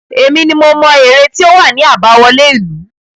Èmi ni mo mọ ère tí ó wà ní àbáwọlé ìlú.